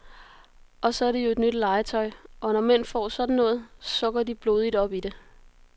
Og så er det jo et nyt legetøj, og når mænd får sådan noget, så går de blodigt op i det.